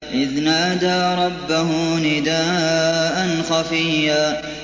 إِذْ نَادَىٰ رَبَّهُ نِدَاءً خَفِيًّا